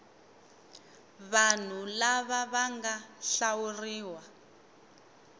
vanhu lava va nga hlawuriwa